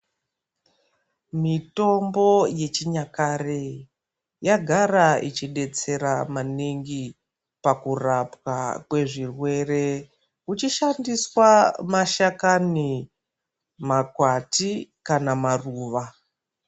Mitombo yechinyakare yagara ichidetsera maningi pakurapwa kwezvirwere, kuchishandiswa mashakani, makwati kana maruva.